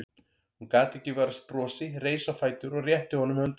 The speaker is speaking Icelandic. Hún gat ekki varist brosi, reis á fætur og rétti honum höndina.